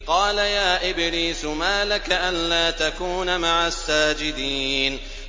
قَالَ يَا إِبْلِيسُ مَا لَكَ أَلَّا تَكُونَ مَعَ السَّاجِدِينَ